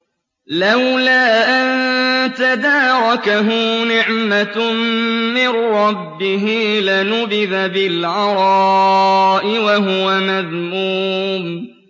لَّوْلَا أَن تَدَارَكَهُ نِعْمَةٌ مِّن رَّبِّهِ لَنُبِذَ بِالْعَرَاءِ وَهُوَ مَذْمُومٌ